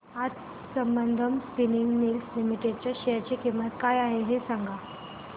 आज Sambandam spinning mills limited च्या share ची किंमत काय आहे हे सांगा